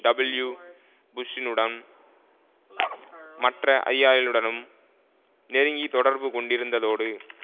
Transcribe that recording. W புஷ்ஷுனுடம் மற்ற அதிகாரிகளுடனும் நெருங்கிய தொடர்பு கொண்டிருந்ததோடு